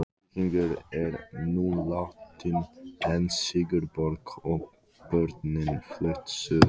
Víkingur er nú látinn en Sigurborg og börnin flutt suður.